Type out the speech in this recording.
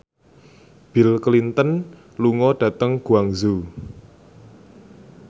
Bill Clinton lunga dhateng Guangzhou